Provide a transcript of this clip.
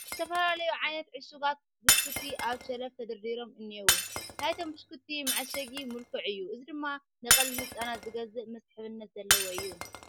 ዝተፈላለዩ ዓይነታት ዕሹጋት ብኽኩቲ ኣብ ሸልፍ ተደርዲሮም እኔዉ፡፡ ናይቶም ብሽኩትቲ መዓሸጊ ምልኩዕ እዩ፡፡ እዚ ድማ ንቀልቢ ህፃናት ዝገዝእ መስሕብነት ዘለዎ እዩ፡፡